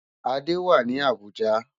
Ade wá ni Abuja